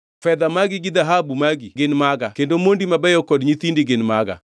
‘Fedha magi gi dhahabu magi gin maga kendo mondi mabeyo kod nyithindi gin maga.’ ”